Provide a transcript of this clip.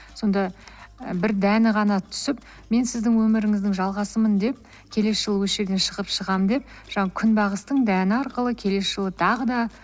сонда і бір дәні ғана түсіп мен сіздің өміріңіздің жалғасымын деп келесі жылы осы жерден шығамын деп күнбағыстың дәні арқылы келесі жылы тағы да